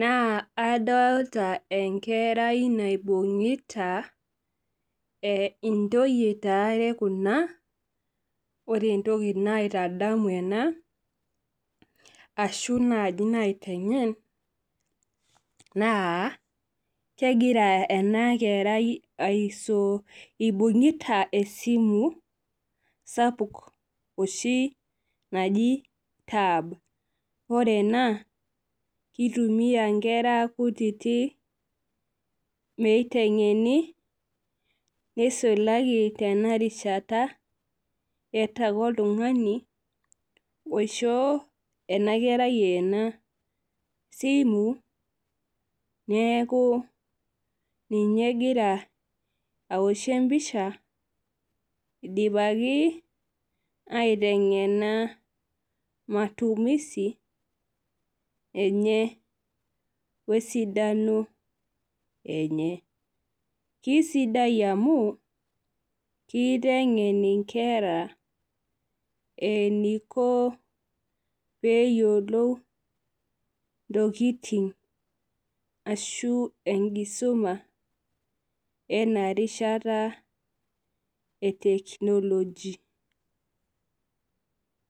naa adolita enkera naibungita ,ntoyie taa kuna .Ore entoki naitadamu ena ashu naitengen naa kegira ena kerai eibungitae esimu sapuk oshi naji tab .Ore ene keitumiyai nkera kutitik meitengeni ,nisulaki tena rishata eeta ake oltungani oishooki ena kerai ena simu neeku ninye egira aoshie empisha idipaki aitengena matumisi enye wesiadano enye. Keisidai amu kitengen nkera eniko pee eyiolou ntokiting ashu enkisuma enarishata eteknology.